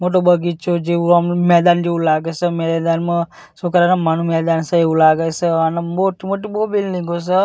મોટો બગીચો જેવુ આમા મેદાન જેવુ લાગે સે મેદાનમાં છોકરા રમવાનુ મેદાન સે એવુ લાગે સે અને મોટી-મોટી બો બિલ્ડિંગો સે .